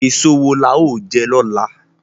Èso wo la ó jẹ lọ́la?